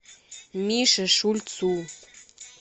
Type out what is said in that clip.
мише шульцу